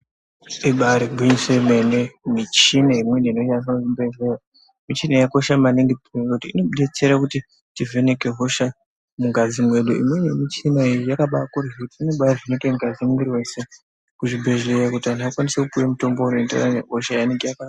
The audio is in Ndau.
Ibarigwinyiso yemene michina imweni inoshandiswa muzvibhedhleya michina yakakosha maningi kuti inotibetsera kuti teivheneka hosha mungazi mwedu. Imweni yemichina yakaba ko inobahine ngazi mumwiri vese kuzvibhedhlera kuti akwanise kupiva mutombo unoenderana nehosha yanenge abarwa.